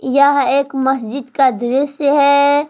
यह एक मस्जिद का दृश्य है।